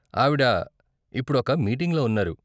ఆవిడ ఇప్పుడొక మీటింగ్లో ఉన్నారు.